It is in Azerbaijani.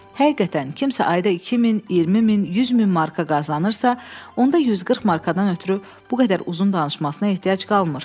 Həqiqətən kimsə ayda 2000, 20000, 100000 marka qazanırsa, onda 140 markadan ötrü bu qədər uzun danışmasına ehtiyac qalmır.